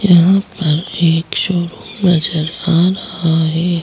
यहाँ पर एक नजर आ रहा है।